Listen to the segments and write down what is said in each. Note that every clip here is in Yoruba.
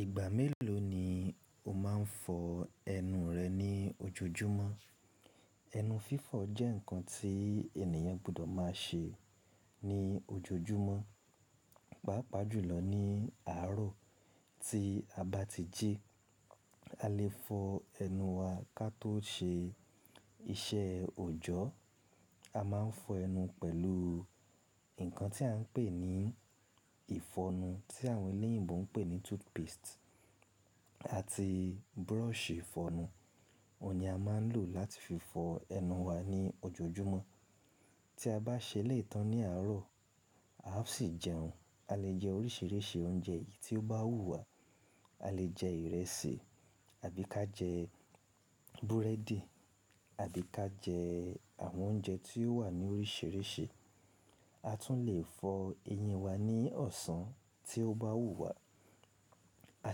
Ìgbà mélòó ni o máa ń fọ ẹnu rẹ ní ojoojúmọ́? Ẹnu fifọ jẹ́ ǹkan tí ènìyàn gbọdọ̀ máa ṣe ní ojoojúmọ́. Pápa jùlọ ní àárọ̀ tí a bá ti jí, a lè fọ ẹnu wa ká tó ṣe iṣẹ́ òjọ́. A máa ń fọ ẹnu pẹ̀lú ǹkan tí à ń pè ní ìfọnu tí àwọn eléyìǹbó ń pè ní toothpaste àti brush ìfọnu. Óhun ni a máa ń lò láti fi fọ ẹnu wa ní ojoojúmọ́. Tí a bá ṣẹ elẹ̀yii tán ní àárọ̀, á sì jẹun. A lè jẹ oríṣìíríṣìí oúnjẹ èyí tí ó bá wùwà. A lè jẹ ìrẹsì àbí ká jẹ búrẹ́dì àbí ká jẹ àwọn oúnjẹ tí ó wà ní oríṣìíríṣìí. A tún lè fọ eyín wa ní ọ̀sán tí ó bá wùwà. A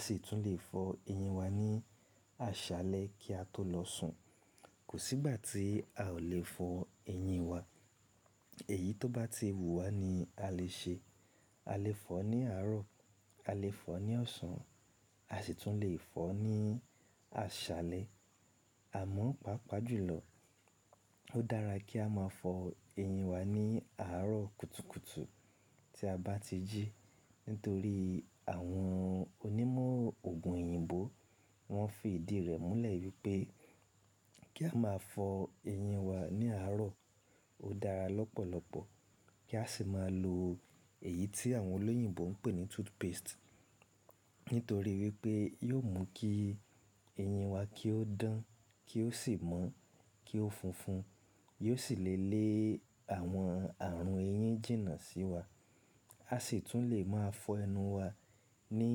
sì tún lè fọ eyín wa ní àṣálẹ́ kí a tó lọ sùn. Kò sí ìgbà tí a ò lè fọ eyín wa. Èyí tó bá ti wù wà ni a lè ṣe. A lè fọ ní àárọ̀, a lè fọ ní ọ̀sán, a sì tún lè fọ ní àṣálẹ́. Àmọ́, pàápàá jùlọ, ó dára kí a máa fọ eyín wa ní àárọ̀ kùtùkùtù tí a bá tijí. Nítorí àwọn onímọ̀ òògùn èyìǹbó wọ́n fi ìdí rẹ̀ múlẹ̀ wípé kí a máa fọ eyín wa ní àárọ̀ ó dára lọ́pọ̀lọpọ̀. Kí a sì máa lo èyí tí àwọn olóyìǹbó ń pè ní toothpaste. Nítorí wípé yóò mú kí eyín wa kí ó dán, kí ó sì mọ́, kí ó funfun, yóò sì le lé àwọn àrùn eyín jìnnà síwa. A sì tún lè máa fọ ẹnu wa ní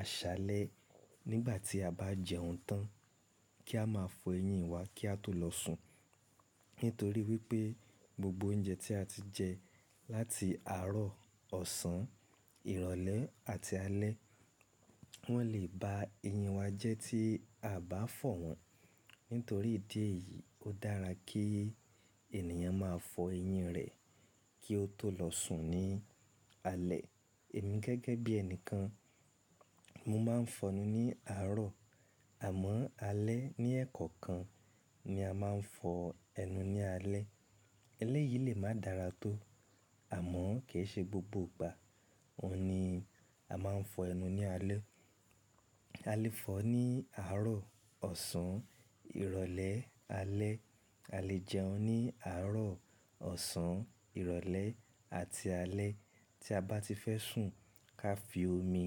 àṣálẹ́ nígbà tí a bá jẹun tán kí a máa fọ eyín wa kí a tó lọ sùn. Nítorí wípé gbogbo oúnjẹ tí a ti jẹ láti àárọ̀, ọ̀sán, ìrọ̀lẹ́ àti alẹ́, wọ́n lè ba eyín wa jẹ́ tí a bá fọ wọ́n. Nítorí ìdí èyí, ó dára kí ènìyàn máa fọ eyín rẹ̀ kí ó tó lọ sùn ní alẹ́. Èmi gẹ́gẹ́ bí ẹnìkan, mo máa ń fọnu ní àárọ̀. Àmọ́ alẹ́ ní ẹ̀kọ̀kan ni a máa ń fọ ẹnu ní alẹ́. Elẹ́ yìí lè máa dára tó àmọ́ kìi ṣe gbogbo ìgbà óhun ni a máa ń fọ ẹnu ní alẹ́. A lè fọ ní àárọ̀, ọ̀sán, ìrọ̀lẹ́, alẹ́. A lè jẹun ní àárọ̀, ọ̀sán, ìrọ̀lẹ́ àti alẹ́. Tí a bá ti fẹ́ sùn ká fi omi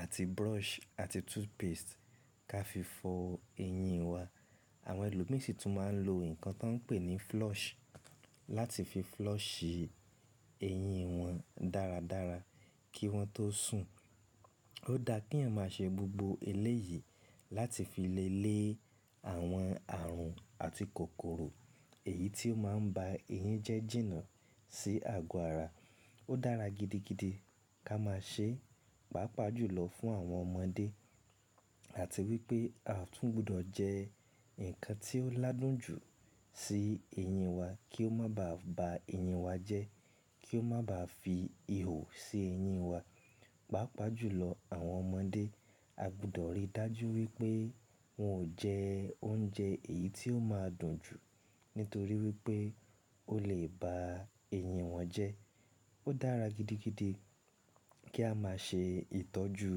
àti brush àti toothpaste ká fi fọ eyín wa. Àwọn ẹlòmí sì tún máa ń lo ǹkan tí wọ́n ń pè ní flush láti fi flush eyín wọn dáradára kí wọ́n tó sùn. Ó dáa kí èèyàn máa ṣe gbogbo ẹlẹ́ yìí láti fi le lé àwọn àrùn àti kòkòrò èyí tí ó máa ń ba eyín jẹ́ jìnnà sí àgọ́ ara. Ó dára gidigidi ká máa ṣe, pàápàá jùlọ fún àwọn ọmọdé. Àti wípé a tún gbọdọ̀ jẹ ǹkan tí ó ládùn jù sí eyín wa kí ó má bá ba eyín wa jẹ́, kí ó má bá fi ihò sí eyín wa. Pápa jùlọ àwọn ọmọdé, a gbọdọ̀ rí dájú wípé wọn ò jẹ oúnjẹ èyí tí ó máa dùn jù nítorí wípé ó lè ba eyín wọn jẹ́. Ó dára gidigidi kí á máa ṣe ìtọ́jú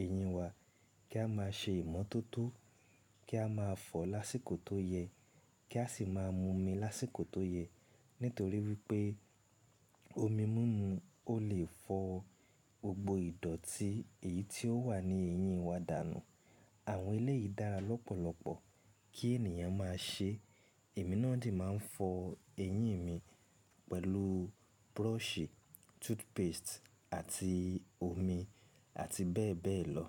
eyín wa, kí á máa ṣe ìmọ́tótó, kí á máa fọ lásìkò tó yẹ, kí a sì máa mú omi lásìkò tó yẹ. Nítorí wípé omi mímu ó lè fọ gbogbo ìdọ̀̀tí èyí tí ó wà ní eyín wa dànù. Àwọn ẹlẹ́ yìí dára lọ́pọ̀lọpọ̀ kí ènìyàn máa ṣe. Ẹ̀mí náà de máa ń fọ eyín mi pẹ̀lú brush, toothpaste àti omi àti bẹ́ẹ̀bẹ́ẹ̀ lọ.